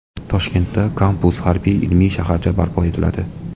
Toshkentda kampus harbiy-ilmiy shaharcha barpo etiladi.